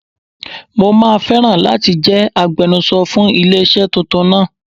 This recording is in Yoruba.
Mo máa fẹ́ràn láti jẹ́ agbenuso fún ilé iṣẹ́ tuntun náà.